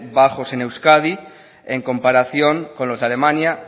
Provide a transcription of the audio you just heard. bajos en euskadi en comparación con los de alemania